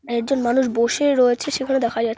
একজন মানুষ বসে রয়েছে সেখানে দেখা যা --